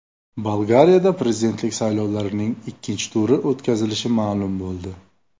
Bolgariyada prezidentlik saylovlarining ikkinchi turi o‘tkazilishi ma’lum bo‘ldi.